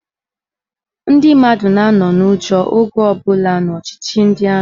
Ndị mmadụ na-anọ n'ụjọ oge ọbụla n'ọchịchị ndị amị.